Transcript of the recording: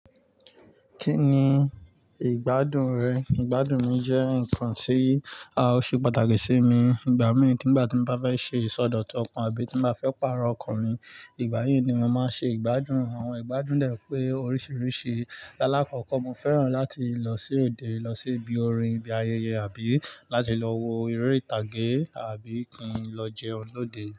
Kí ni ìgbádùn rẹ? Ìgbádùn mi jẹ́ nǹkan tí à o ṣe pàtàkì sí mi. Ìgbà mìí nígbà tí mo bá fẹ́ ṣe ìsọdọ̀tọ̀ ọkàn àbí tí mo bá fẹ́ pààrọ̀ ọkàn mi, ìgbà yí ni mo máa ṣe ìgbádùn. Àwọn ìgbádùn dẹ̀ pé oríṣiríṣi. Láàkọ́kọ́ mo fẹ́ràn láti lọ sí òde, lọ sí ibi orin, ibi ayẹyẹ àbí láti lọ wo eré ìtàgé àbí kí n lọ jẹun lóde.